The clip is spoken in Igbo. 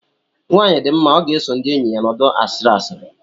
Nwanyị dị mma ọ ga-eso ndị enyi ya nọdụ asị asịrị